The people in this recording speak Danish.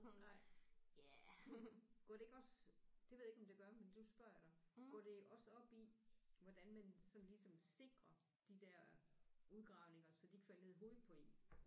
Nej var det ikke også det ved jeg ikke om det gør men nu spørger jeg dig går det også op i hvordan man sådan ligesom sikrer de der udgravninger så de ikke falder ned i hovedet på én